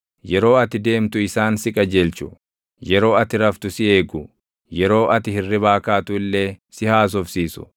Yeroo ati deemtu isaan si qajeelchu; yeroo ati raftu si eegu; yeroo ati hirribaa kaatu illee si haasofsiisu.